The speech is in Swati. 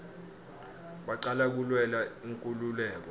bacala kulwela inkululeko